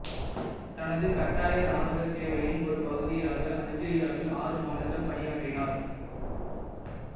தனது கட்டாய இராணுவ சேவையின் ஒரு பகுதியாக அல்ஜீரியாவில் ஆறு மாதங்கள் பணியாற்றினார்